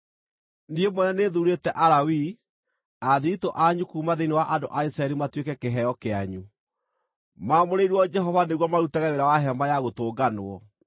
Niĩ mwene nĩthuurĩte Alawii athiritũ anyu kuuma thĩinĩ wa andũ a Isiraeli matuĩke kĩheo kĩanyu, maamũrĩirwo Jehova nĩguo marutage wĩra wa Hema-ya-Gũtũnganwo.